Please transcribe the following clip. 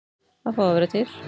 Að fá að vera til.